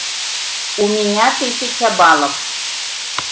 у меня тысяча баллов